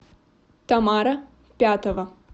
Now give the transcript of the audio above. тамара пятова